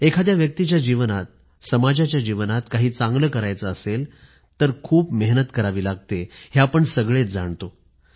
एखाद्या व्यक्तीच्या जीवनात समाजाच्या जीवनात काही चांगलं करायचं असेल तर खूप मेहनत करावी लागते हे आपण सगळेच जाणतो